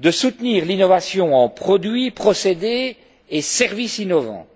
de soutenir l'innovation en produits, procédés et services innovants.